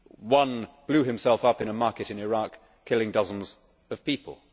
One blew himself up in a market in Iraq, killing dozens of people.